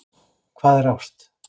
Hvað er ást?